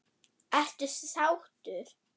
Ertu sáttur?